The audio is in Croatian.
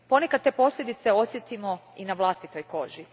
Ponekad te posljedice osjetimo i na vlastitoj koži.